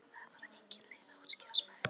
Það er bara engin leið að útskýra smekk.